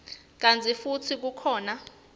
kantsi futsi kukhona